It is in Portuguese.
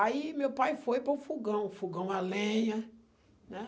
Aí meu pai foi para o fogão, fogão a lenha, né?